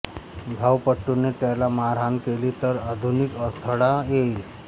धावपटूने त्याला मारहाण केली तर आधुनिक अडथळा येईल